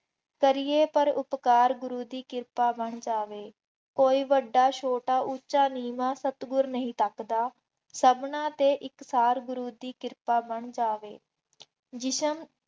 ਕਰ ਪਰ ਉਪਕਾਰ ਗੁਰੂ ਦੀ ਕਿਰਪਾ ਬਣ ਜਾਵੇ, ਕੋਈ ਵੱਡਾ, ਛੋਟਾ, ਉੱਚਾ, ਨੀਂਵਾਂ ਸਤਿਗੁਰੂ ਨਹੀਂ ਤੱਕਦਾ, ਸਭਨਾ ਤੇ ਇਕਸਾਰ ਗੁਰੂ ਦੀ ਕਿਰਪਾ ਬਣ ਜਾਵੇ। ਜਿਸਮ